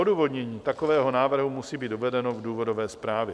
Odůvodnění takového návrhu musí být uvedeno v důvodové zprávě.